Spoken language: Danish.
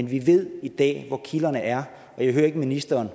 vi ved i dag hvor kilderne er og jeg hører ikke ministeren